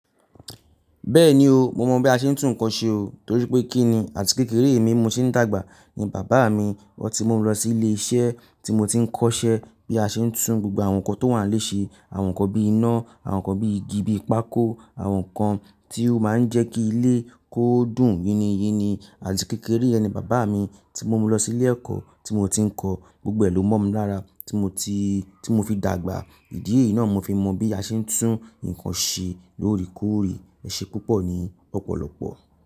Bẹ́ẹ̀ni o, mo mọ̀ bí a ṣe ń tún nǹkan ṣe o, torí pé kí ni àti kékeré mi mo ti ń dàgbà ni bàbá mi, otí mú u lọ sí ilé iṣẹ́ tí mo ti ń kọ́ṣẹ́ bí a ṣe ń tún gbogbo àwọn nǹkan tó wà nílé ṣe, àwọn nǹkan bí iná, àwọn nǹkan bí igi, bí pákó, àwọn nǹkan tí ó máa ń jẹ́ kí ilé kó dùn yiní yiní. Àti kékeré yẹ ni bàbá mi tí mú mi lọ sí ilé ẹ̀kọ́ tí mo ti ń kọ́, gbogbo ẹ̀ ló mọ̀ mí lára tí mo ti, tí mo fi dàgbà. Ìdí eyi náà mo fi mọ bí a ṣe ń tún nǹkan ṣe lóòrèkóòrè, ẹṣẹ púpọ̀ ni lọ́pọ̀lọ́pọ̀.